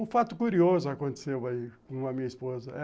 Um fato curioso aconteceu aí com a minha esposa.